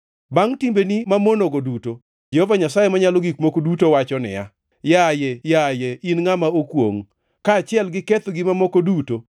“ ‘Bangʼ timbeni mamonogo duto, Jehova Nyasaye Manyalo Gik Moko Duto wacho niya, yaye, yaye in ngʼama okwongʼ! Kaachiel gi kethogi mamoko duto,